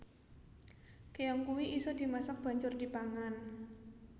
Keong kui iso dimasak banjur dipangan